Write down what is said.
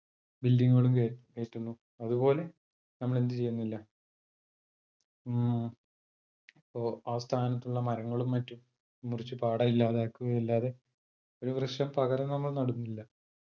building കളും കേ കേറ്റുന്നു. അത്പോലെ നമ്മളെന്ത് ചെയ്യുന്നില്ല ഉം അപ്പൊ ആ സ്ഥാനത്തുള്ള മരങ്ങളും മറ്റും മുറിച്ച് പാടെ ഇല്ലാതാകുകയല്ലാതെ ഒരു വൃക്ഷം പകരം നമ്മൾ നടുന്നില്ല